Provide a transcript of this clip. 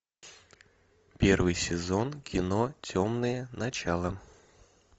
первый сезон кино темные начала